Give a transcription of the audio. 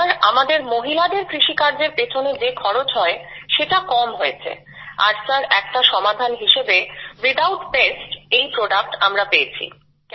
sir আমাদের মহিলাদের কৃষিকার্যএর পেছনে যে খরচ হয় সেটা কম হয়েছে আর সির একটা সমাধান হিসাবে উইথআউট পেস্ট এই প্রোডাক্ট আমরা পেয়েছি